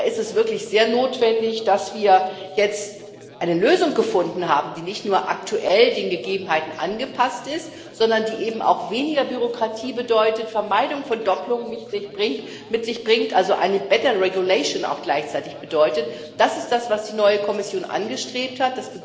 Da ist es wirklich sehr notwendig, dass wir jetzt eine Lösung gefunden haben, die nicht nur aktuell den Gegebenheiten angepasst ist, sondern auch weniger Bürokratie bedeutet, Vermeidung von Dopplungen mit sich bringt, also gleichzeitig auch eine bessere Rechtsetzung bedeutet. Das ist das, was die neue Kommission angestrebt hat.